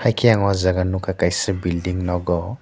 enke aw jaaga nugka kaisa building nogo.